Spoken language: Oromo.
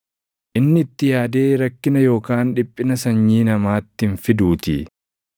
Inni itti yaadee rakkina yookaan dhiphina sanyii namaatti hin fiduutii.